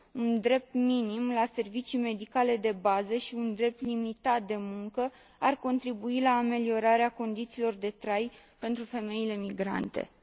Un drept minim la servicii medicale de bază și un drept limitat de muncă ar contribui la ameliorarea condițiilor de trai pentru femeile migrante. Mulțumesc.